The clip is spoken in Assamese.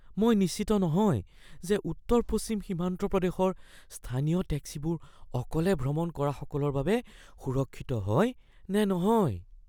মই নিশ্চিত নহয় যে উত্তৰ-পশ্চিম সীমান্ত প্ৰদেশৰ স্থানীয় টেক্সিবোৰ অকলে ভ্ৰমণ কৰাসকলৰ বাবে সুৰক্ষিত হয় নে নহয়।